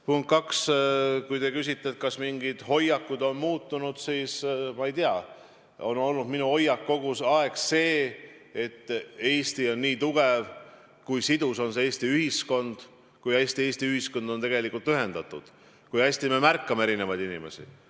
Punkt kaks, kui te küsite, kas mingid hoiakud on muutunud, siis, ma ei tea, minu hoiak on kogu aeg olnud see, et Eesti on nii tugev, kui sidus Eesti ühiskond on, kui hästi Eesti ühiskond on ühendatud, kui hästi me märkame erinevaid inimesi.